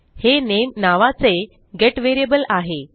हे नामे नावाचे गेट व्हेरिएबल आहे